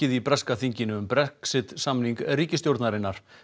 í breska þinginu um Brexit samning ríkisstjórnarinnar